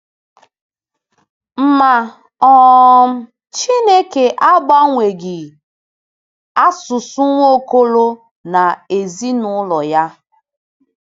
Ma um Chineke agbanweghị asụsụ Nwokolo na ezinụlọ ya.